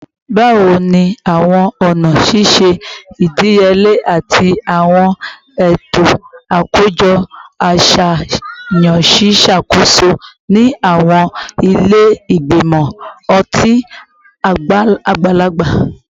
Bawo ni awọn ọna ṣiṣe idiyele ati awọn eto akojọ aṣayan ṣe ṣakoso ni awọn ile igbimọ ọti agbalagba?